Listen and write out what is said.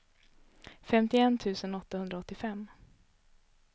femtioett tusen åttahundraåttiofem